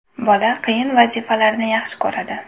Bola qiyin vazifalarni yaxshi ko‘radi.